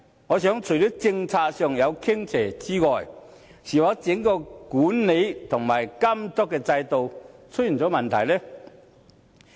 我認為除了政策上有傾斜之外，是否整個管理和監督制度出現問題呢？